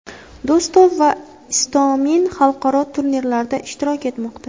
Do‘stov va Istomin xalqaro turnirlarda ishtirok etmoqda.